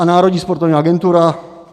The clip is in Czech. A Národní sportovní agentura?